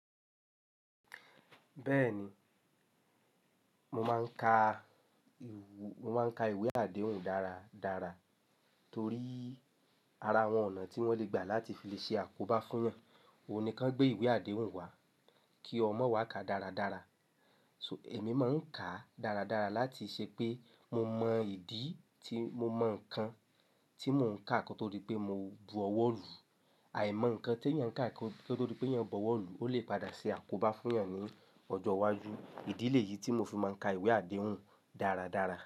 Bẹ́ẹ̀ni, mo máa ń ka mo máa ń ka ìwé àdéhùn dáradára torí ara àwọn ọ̀nà tí wọ́n le gbà láti fi lè ṣe àkóbá fún yàn. Oòní kan gbé ìwé àdéhùn wá kí ọmọ wá ka dáradára. So ẹ̀mí máa ń kàá dáradára láti ṣe pé mo mọ ìdí tí mo mọ ǹkan tí mò ń kàá kí ó tode pé mo bọ̀wọ́ lu. Àìmọ̀ ǹkan tí yàn kàá kí ó tode pé yàn bọ̀wọ̀ lu o lè padà ṣe àkóbá fún yàn ní ọjọ́ iwájú. Ìdílé yìí tí mo fi máa ń ka ìwé àdéhùn dáradára.